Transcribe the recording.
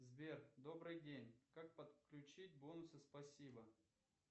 сбер добрый день как подключить бонусы спасибо